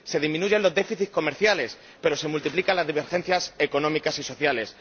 Se disminuyen los déficits comerciales pero se multiplican las divergencias económicas y sociales.